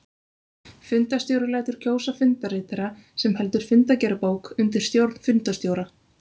Fundarstjóri lætur kjósa fundarritara sem heldur fundagerðarbók undir stjórn fundarstjóra.